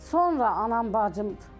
Sonra anam, bacımdır.